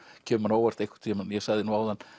kemur á óvart ég sagði nú áðan